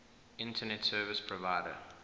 internet service provider